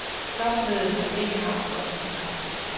Topmødet har ikke haft vor interesse.